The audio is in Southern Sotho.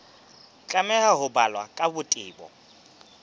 tlameha ho balwa ka botebo